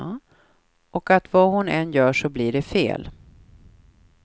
Och att vad hon än gör så blir det fel.